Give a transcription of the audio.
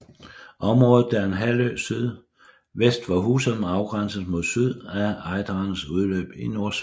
Området der er en halvø sydvest for Husum afgrænses mod syd af Ejderens udløb i Nordsøen